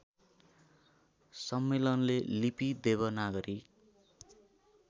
सम्मेलनले लिपि देवनागरी